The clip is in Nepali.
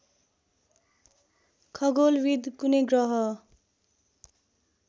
खगोलविद् कुनै ग्रह